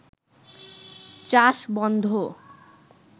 চাষ বন্ধ